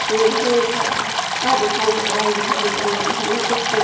शेर है खड़ा हुआ वहाँ दिखाई दे रहा है यहाँ दूर्वा लगी हुई वह कुछ सूख--